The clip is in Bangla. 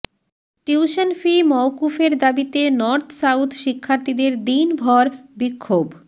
টিউশন ফি মওকুফের দাবিতে নর্থ সাউথ শিক্ষার্থীদের দিনভর বিক্ষোভ